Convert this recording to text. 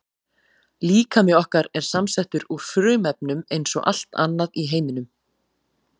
Líkami okkar er samsettur úr frumefnum eins og allt annað í heiminum.